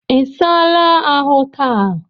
I saala ahụ taa?